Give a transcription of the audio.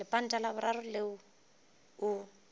lepanta la boraro leo o